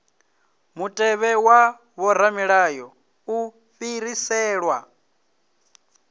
mutevhe wa vhoramilayo u fhiriselwa